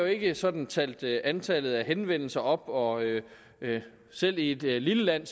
ikke sådan talt antallet af henvendelser op og selv i et lille land